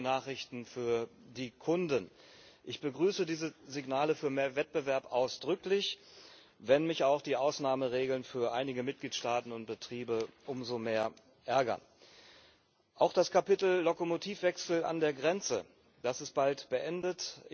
Das sind gute Nachrichten für die Kunden. Ich begrüße diese Signale für mehr Wettbewerb ausdrücklich, wenn mich auch die Ausnahmeregeln für einige Mitgliedstaaten und Betriebe umso mehr ärgern. Auch das Kapitel Lokomotivwechsel an der Grenze ist bald beendet.